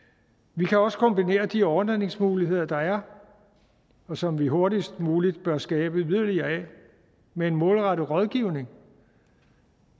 vi kan også kombinere de overnatningsmuligheder der er og som vi hurtigst muligt bør skabe yderligere af med målrettet rådgivning